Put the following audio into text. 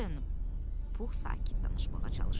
Pux sakit danışmağa çalışırdı.